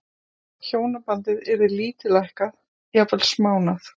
Hjónabandið yrði lítillækkað, jafnvel smánað.